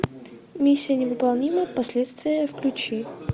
миссия невыполнима последствия включи